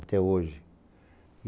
Até hoje.